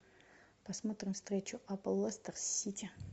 посмотрим встречу апл лестер с сити